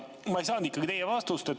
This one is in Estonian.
Ma ei saanud ikkagi teilt vastust.